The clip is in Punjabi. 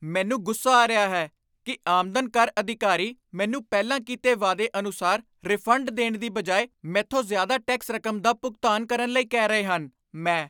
ਮੈਨੂੰ ਗੁੱਸਾ ਆ ਰਿਹਾ ਹੈ ਕੀ ਆਮਦਨ ਕਰ ਅਧਿਕਾਰੀ ਮੈਨੂੰ ਪਹਿਲਾਂ ਕੀਤੇ ਵਾਅਦੇ ਅਨੁਸਾਰ ਰਿਫੰਡ ਦੇਣ ਦੀ ਬਜਾਏ ਮੈਥੋਂ ਜ਼ਿਆਦਾ ਟੈਕਸ ਰਕਮ ਦਾ ਭੁਗਤਾਨ ਕਰਨ ਲਈ ਕਹਿ ਰਹੇ ਹਨ ਮੈਂ